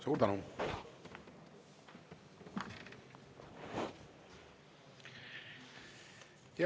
Suur tänu!